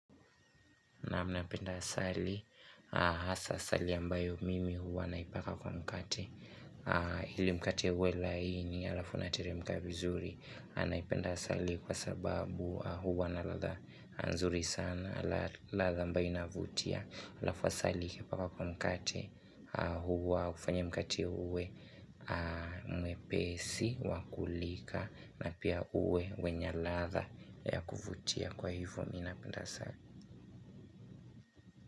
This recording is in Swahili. Naam napenda asali, hasa asali ambayo mimi huwa naipaka kwa mkate ili mkate uwe laini, alafu unateremka vizuri, naipenda asali kwa sababu huwa na ladha nzuri sana, ladha ambayo inavutia. Alafu asali ukipaka kwa mkate huwa hufanya mkate uwe mwepesi, wa kulika, na pia uwe wenye ladha ya kuvutia kwa hivyo mi napenda asali.